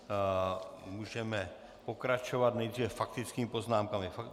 Můžeme pokračovat, nejdříve faktickými poznámkami.